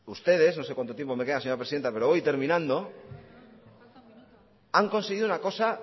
no se cuanto tiempo me queda señora presidenta pero voy terminando han conseguido una cosa